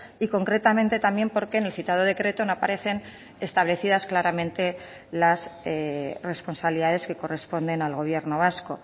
y concretamente también porque en el citado decreto no aparecen establecidas claramente las responsabilidades que corresponden al gobierno vasco